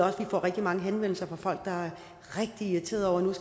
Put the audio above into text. også rigtig mange henvendelser fra folk der er rigtig irriterede over